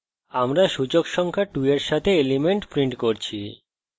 আমরা সূচক সংখ্যা 2 we সাথে element printing করছি